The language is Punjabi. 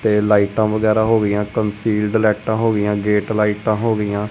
ਤੇ ਲਾਈਟਾਂ ਵਗੈਰਾ ਹੋ ਗਈਆਂ ਕਨਸੀਲਡ ਲਾਈਟਾਂ ਹੋ ਗਈਆਂ ਗੇਟ ਲਾਈਟਾਂ ਹੋ ਗਈਆਂ।